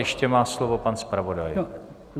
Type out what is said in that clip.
Ještě má slovo pan zpravodaj.